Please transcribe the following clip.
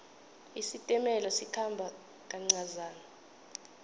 isitimela sikhamba kancazana